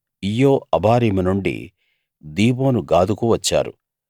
ఈయ్యె Abarim నుండి Dibon గాదుకు వచ్చారు